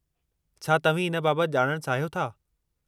छा तव्हीं इन बाबति ॼाणण चाहियो था?